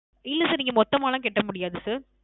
இல்ல Sir நீங்க மொத்தமாலாம் கட்ட முடியாது Sir